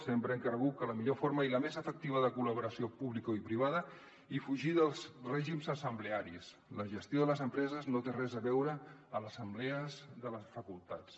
sempre hem cregut que la millor forma i la més efectiva és la col·laboració publicoprivada i fugir dels règims assemblearis la gestió de les empreses no té res a veure amb assemblees de les facultats